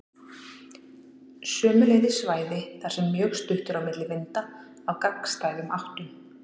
Sömuleiðis svæði þar sem mjög stutt er á milli vinda af gagnstæðum áttum.